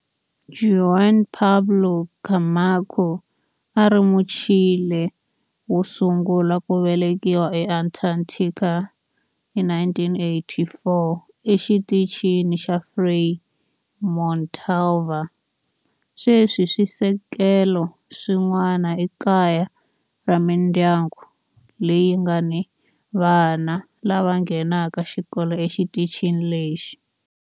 Juan Pablo Camacho a a ri Muchile wo sungula ku velekiwa eAntarctica hi 1984 eXitichini xa Frei Montalva. Sweswi swisekelo swin'wana i kaya ra mindyangu leyi nga ni vana lava nghenaka xikolo exitichini lexi.